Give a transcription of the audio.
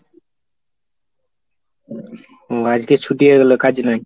ও আজকে ছুটি হয়ে গেল? কাজ নেই?